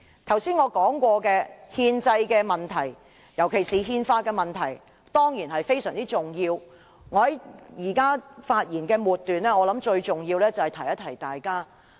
剛才我所說的憲制問題，尤其是憲法問題，當然非常重要，在我發言的末段，我認為最重要是提醒大家。